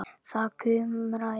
Það kumraði í honum.